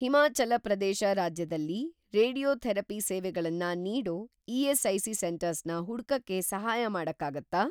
ಹಿಮಾಚಲ ಪ್ರದೇಶ ರಾಜ್ಯದಲ್ಲಿ ರೇಡಿಯೋಥೆರಪಿ ಸೇವೆಗಳನ್ನ ನೀಡೋ ಇ.ಎಸ್.ಐ.ಸಿ. ಸೆಂಟರ್ಸ್‌ನ ಹುಡ್ಕಕ್ಕೆ ಸಹಾಯ ಮಾಡಕ್ಕಾಗತ್ತಾ?